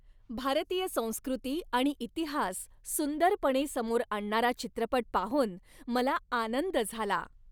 भारतीय संस्कृती आणि इतिहास सुंदरपणे समोर आणणारा चित्रपट पाहून मला आनंद झाला.